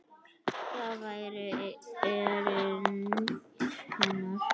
Það væri erindi hennar.